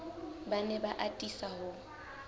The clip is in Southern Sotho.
ba ne ba atisa ho